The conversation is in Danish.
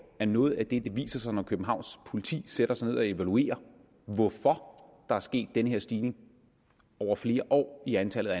at noget af det der viser sig når københavns politi sætter sig ned og evaluerer hvorfor der er sket den her stigning over flere år i antallet af